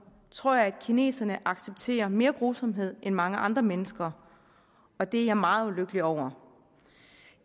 tror jeg at kineserne accepterer mere grusomhed end mange andre mennesker og det er jeg meget ulykkelig over